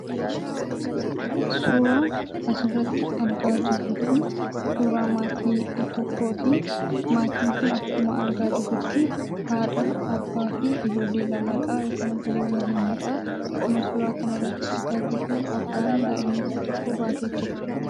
Suuraan asirratti argaa jirru kun, suuraa maatii tokkootii. Maatiin kun akkuma argaa jirrutti, haadha abbaa, ijoollee lamadha. Yookaan obboleewwan lamadha. Akkuma suuraa kanarratti argaa jirruu abbaan daa'ima isa tokko baatee jira.